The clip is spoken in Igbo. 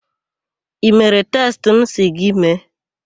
I mere testị m sị gị mee?